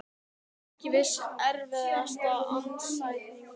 Ekki viss Erfiðasti andstæðingur?